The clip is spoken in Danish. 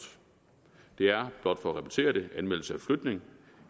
det er blot for at repetere det anmeldelse af flytning